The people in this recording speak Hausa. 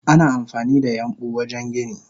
Ana amfanida yambu wajen gini.